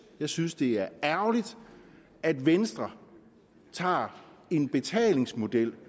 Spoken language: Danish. jeg synes det er ærgerligt at venstre tager en betalingsmodel